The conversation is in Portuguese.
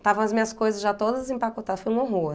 Estavam as minhas coisas já todas empacotadas, foi um horror.